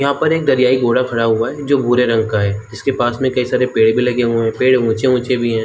यहां पर एक दरियाई घोड़ा खड़ा हुआ है जो भूरे रंग का है जिसके पास में काई सारे पेड़ भी लगे हुए हैं पेड़ ऊंचे ऊंचा भी है।